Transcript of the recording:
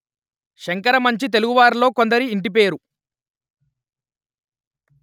శంకరమంచి తెలుగు వారిలో కొందరి ఇంటి పేరు